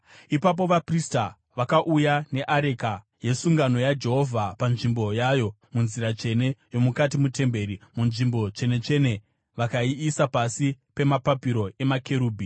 Ipapo vaprista vakauya neareka yesungano yaJehovha panzvimbo yayo munzira tsvene yomukati metemberi, muNzvimbo Tsvene-tsvene vakaiisa pasi pemapapiro emakerubhi.